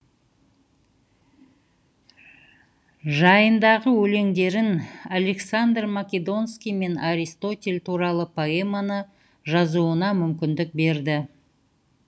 жайындағы өлеңдерін александр македонский мен аристотель туралы поэманы жазуына мүмкіндік берді